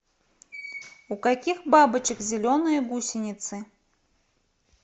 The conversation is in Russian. у каких бабочек зеленые гусеницы